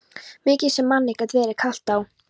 Mikið sem manni gat verið kalt á